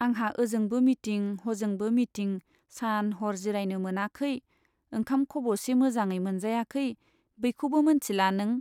आंहा ओजोंबो मिटिं , हजोंबो मिटिं सान हर जिरायनो मोनाखै , ओंखाम खब'से मोजाङै मोनजायाखै बैखौबो मोनथिला नों ?